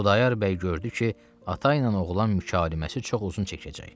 Xudayar bəy gördü ki, ata ilə oğlan mükaliməsi çox uzun çəkəcək.